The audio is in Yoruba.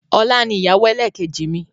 Ọlá ni ìyàwó ẹlẹ́kẹ́jì mi.